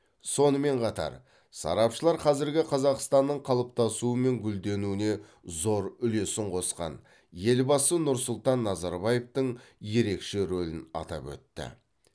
сонымен қатар сарапшылар қазіргі қазақстанның қалыптасуы мен гүлденуіне зор үлесін қосқан елбасы нұрсұлтан назарбаевтың ерекше рөлін атап өтті